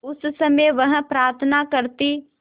उस समय वह प्रार्थना करती